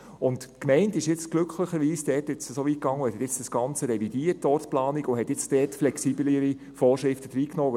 Die Gemeinde ging glücklicherweise so weit, dass sie die ganze Ortsplanung revidierte und dort flexiblere Vorschriften hineinnahm.